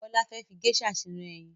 Bọ́lá fẹ́ fi geisha sínú eyin